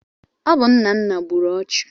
Ọ bụ Nnanna gburu ọchụ.